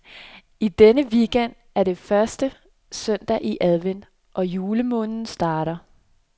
I denne weekend er det første søndag i advent, og julemåneden starter.